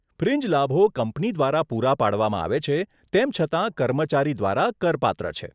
Fringe લાભો કંપની દ્વારા પૂરા પાડવામાં આવે છે, તેમ છતાં કર્મચારી દ્વારા કરપાત્ર છે.